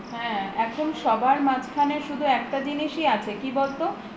এখন সবার মাঝখানে একটা জিনিসই আছে কি বলত